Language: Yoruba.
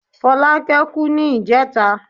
Fọlákẹ́ kú ní ìjẹẹ̀ta.